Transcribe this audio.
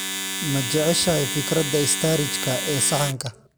Ma jeceshahay fikradda istaarijka ee saxanka?